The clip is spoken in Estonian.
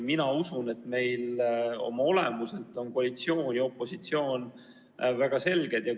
Mina usun, et oma olemuselt on koalitsioon ja opositsioon väga selged mõisted.